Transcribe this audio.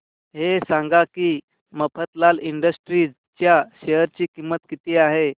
हे सांगा की मफतलाल इंडस्ट्रीज च्या शेअर ची किंमत किती आहे